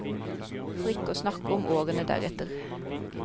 For ikke å snakke om årene deretter.